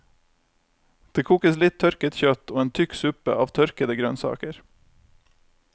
Det kokes litt tørket kjøtt, og en tykk suppe av tørkede grønnsaker.